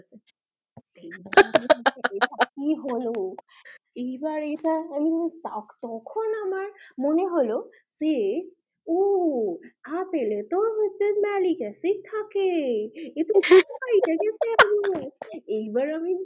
আর কি হলো এইবার ইটা ও এইবার তখন আমার মনে হলো যে ওআপেল এ তো Malic acid থাকে হা হা হা এইবার আমি